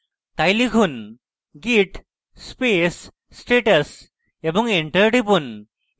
তাই লিখুন: git space status এবং enter টিপুন